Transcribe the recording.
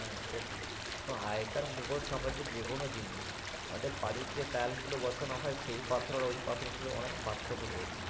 হ্যাঁ সেটাই আগে কার মুগল সাম্রাজ্য যে কোনো জিনিস আমাদের বাড়ি যে Tiles গুলোবসানো তৌরি হয় সেই পাথর আর ওই পাথরের সঙ্গে পার্থক্য রয়েছে।